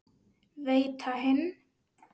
Veita hinn